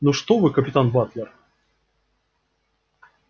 ну что вы капитан батлер